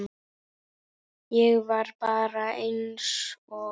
Ég var bara einsog